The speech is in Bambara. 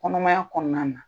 Kɔnɔmaya kɔnɔna na.